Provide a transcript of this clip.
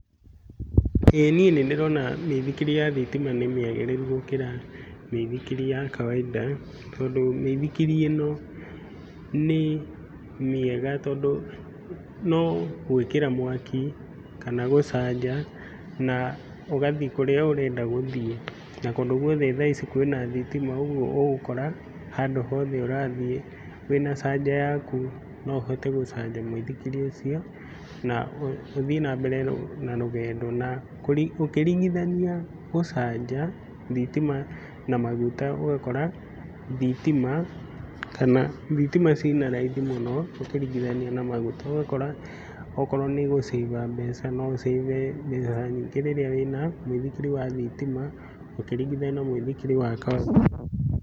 Ĩĩ niĩ nĩndĩrona mĩithikiri ya thitima nĩ mĩagĩrĩru gũkĩra mĩithikiri ya kawainda, tondũ mĩithikiri ĩno nĩ mĩega tondũ no gwĩkĩra mwaki kana gũcanja na ũgathi kũrĩa ũrenda gũthiĩ. Na kũndũ guothe thaa ici kwĩna thitima, ũguo ũgũkora handũ hothe ũrathiĩ, wĩna canja yaku no ũhote gũcanja mũithikiri ũcio na ũthiĩ nambere na rũgendo. Na ũkĩringithania gũcanja thitima na maguta ũgakora thitima kana thitima ciina raithi mũno ũkĩringithania na maguta. Ũgakora okorwo nĩ gũcĩba mbeca no ũcĩbe mbeca nyingĩ rĩrĩa wĩna mũithikiri wa thitima, ũkĩringithania na mũithikiri wa kawainda.